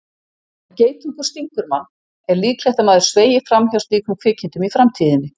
Ef geitungur stingur mann er líklegt að maður sveigi fram hjá slíkum kvikindum í framtíðinni.